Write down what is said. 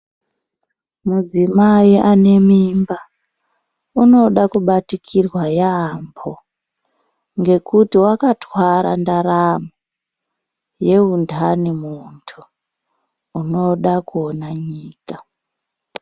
Mudzimai ane mimba unoda kubatikirwa yambo ngekuti wakatwara ndaramo yeundani mundu unoda kuona nyika.